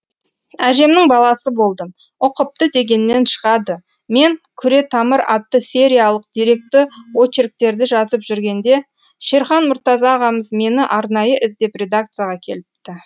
әжемнің баласы болдым ұқыпты дегеннен шығады мен күретамыр атты сериялық деректі очерктерді жазып жүргенде шерхан мұртаза ағамыз мені арнайы іздеп редакцияға келіпті